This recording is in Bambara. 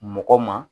Mɔgɔ ma